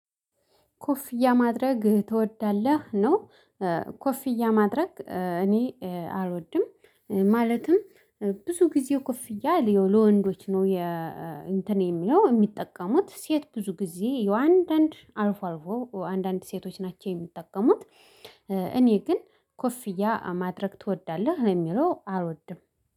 ኮፍያ ማድረግ ትወዳለህ ነው? ኮፍያ ማድረግ እኔ አልወድም ማለትም ብዙ ጊዜ ኮፍያ ለወንዶች ነው። እንትን የሚለው የሚጠቀሙት ሴት ብዙ ጊዜ የአንዳንድ አልፎ አልፎ አንዳንድ ሴቶች ናቸው የሚጠቀሙት። እኔ ግን ኮፍያ ማድረግ ትወዳለህ ለሚለው አልወድም